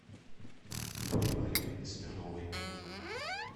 юлии валерьевны смирновой